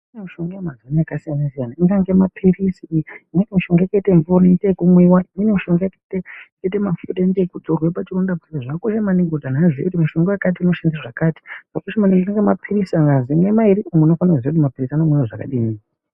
Kune mushonga yakasiyana siyana ingaite mapirizi, imweni mishonga yakaite mvura yekumwa. Imweni mishonga yakaite mafuta ekuzorera pachironda. Zvakakosha maningi kuziya kuti mushonga wakati unorapa chakati, ukazwi unofanira kumwa mapirizi mairi, unofanira kuziya kuti anomwiwa akadini.